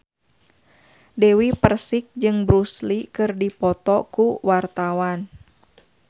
Dewi Persik jeung Bruce Lee keur dipoto ku wartawan